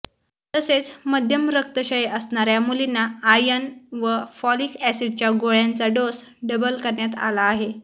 तसेच मध्यम रक्तक्षय असणाऱ्या मुलींना आर्यन व फॉलिक ऑसिडच्या गोळ्यांचा डोस डबल करण्यात आला आहे